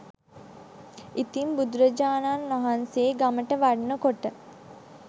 ඉතින් බුදුරජාණන් වහන්සේ ගමට වඩින කොට